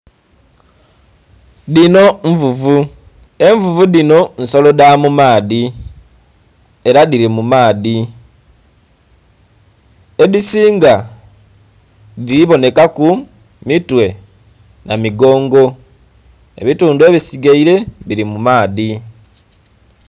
Dhino nvuvu, envuvu dhino nsolo dha mu maadhi era dhili mu maadhi, edhisinga dhili bonheka ku mitwe namugongo ebitundhu ebisigaile bili mu maadhi.